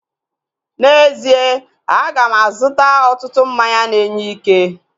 N'ezie, aga m azụta ọtụtụ mmanya na-enye ike